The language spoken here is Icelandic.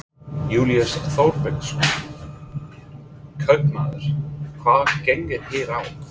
Júlíus Þorbergsson, kaupmaður: Hvað gengur hér á?